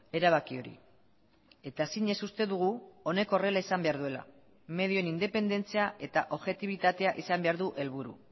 erabaki hori eta zinez uste dugu honek horrela izan behar duela medioen independentzia eta objetibitatea izan behar du helburu